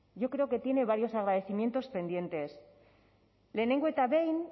yo creo que tiene varios agradecimientos pendientes lehengo eta behin